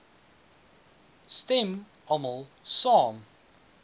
stem almal saam